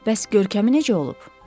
Bəs görkəmi necə olub?